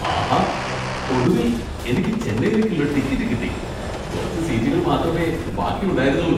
ആഹാ! ഒടുവിൽ എനിക്ക് ചെന്നൈയിലേക്കുള്ള ടിക്കറ്റ് കിട്ടി. കുറച്ച് സീറ്റുകൾ മാത്രമേ ബാക്കിയുണ്ടായിരുന്നുള്ളൂ.